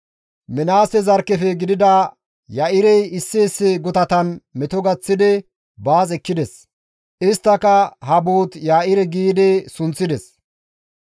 Minaase zarkkefe gidida Ya7irey issi issi gutatan meto gaththidi baas ekkides; isttika, «Habot-Ya7ire» gi sunththides.